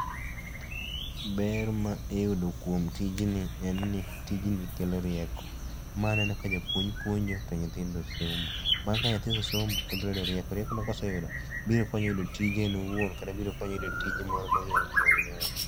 Ber ma iyudo kuom tijni en ni tijni kelo rieko. Ma aneno ka japuonj puonjo to nyithindo somo. Bang' ka nyathi osesomo, to obiro yudo rieko. Rieko no koseyudo to biro konye yudo tije owuon kata ma onyalo timo gi nyawadgi.